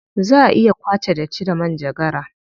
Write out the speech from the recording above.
Za a iya kwace datti da manjagara.